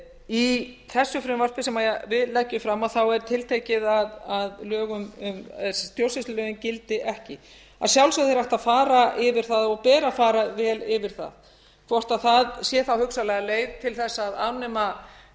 í þessu frumvarpi sem við leggjum fram er tiltekið að stjórnsýslulögin gildi ekki að sjálfsögðu er hægt að fara yfir það og ber að fara vel yfir það hvort það sé þá hugsanlega leið til þess að afnema